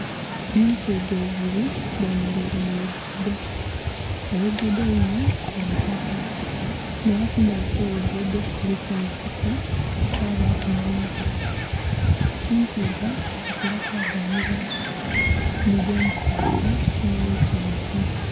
Entwiga ibiri dhe mereire mu lugudho, olugudho lunho lwa itaka nga era kumbali kwo lugudho kuliku ensiko kwabaku nhe miti, entwiga dhitera kwa ganhibwa mu gemupaaka nho kwisi mu zuu.